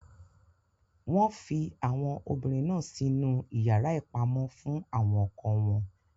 Wọn fi àwọn obìnrin náà sinu iyàrá ìpamọ fún àwọn ọkọ wọn.